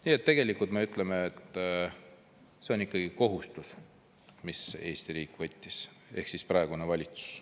Nii et tegelikult me ütleme, et see on ikkagi kohustus, mis Eesti riik võttis ehk siis praegune valitsus.